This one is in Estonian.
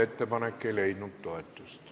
Ettepanek ei leidnud toetust.